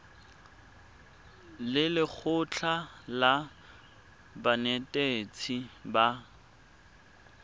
le lekgotlha la banetetshi ba